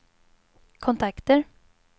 kontakter